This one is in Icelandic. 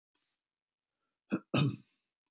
Staðsetning og stærð eyjunnar standast ekki heldur.